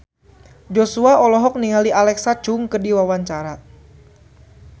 Joshua olohok ningali Alexa Chung keur diwawancara